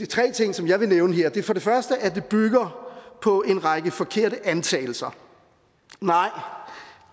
tre ting som jeg vil nævne her det er for det første at det bygger på en række forkerte antagelser